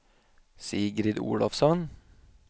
Sigrid Olofsson